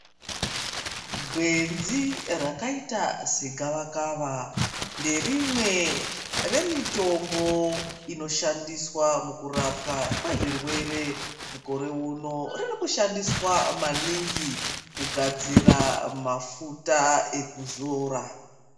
Gwenzi rakaita segavakava nderimwe remitombo inoshandiswa mukurapwa kwezvirwere mukore uno ririkushandiswa maningi kugadzira mafuta ekuzora.